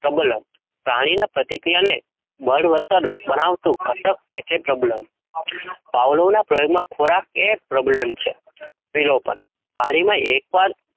પાણી ના પ્રતિક્રિયા ને ભણાવતું ઘટક એટલે problem, પવલોના ખોરાક યે problem છે? ભવલોનાં ખોરાક ના વિલોપન,